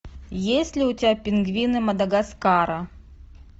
есть ли у тебя пингвины мадагаскара